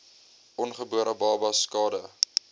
ongebore babas skade